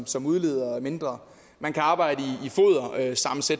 som udleder mindre man kan arbejde